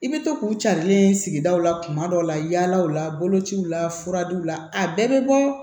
I bɛ to k'u carilen sigidaw la kuma dɔw la yala u la bolociw la furaw la a bɛɛ bɛ bɔ